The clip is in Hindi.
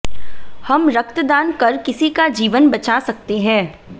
हम रक्तदान कर किसी का जीवन बचा सकते हैं